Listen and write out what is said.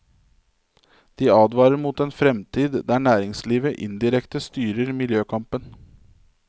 De advarer mot en fremtid der næringslivet indirekte styrer miljøkampen.